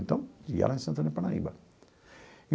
Então, ia lá em Santana e Parnaíba.